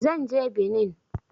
Zan je Benin